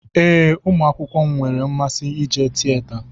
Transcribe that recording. Ee, ụmụ akwụkwọ m nwere mmasị ije tieta.